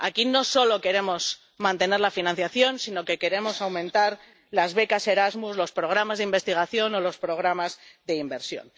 Aquí no solo queremos mantener la financiación, sino que queremos aumentar las becas Erasmus, los programas de investigación o los programas de inversión.